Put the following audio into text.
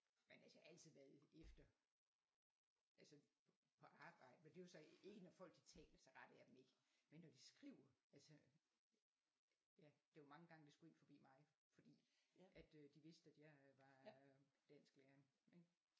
Men altså jeg har altid været efter altså på arbejde men det er jo så ikke når folk de taler så retter jeg dem ikke men når de skriver altså ja det er jo mange gange det skulle ind forbi mig fordi at øh de vidste at jeg var øh dansklæreren ik